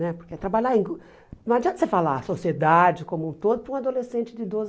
Né porque trabalhar em gru não adianta você falar sociedade como um todo para um adolescente de doze